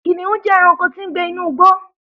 Kìnìún jẹ́ ẹranko tí ń gbé inú igbó.